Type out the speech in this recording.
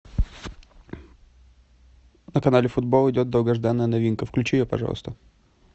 на канале футбол идет долгожданная новинка включи ее пожалуйста